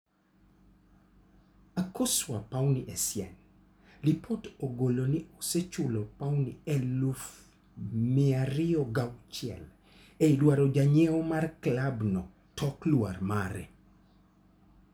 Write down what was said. Akosua Puni Essien, lipot ogolo ni osechulo pauni 206,000 e dwaro janyiew mar klab no tok lwar mare.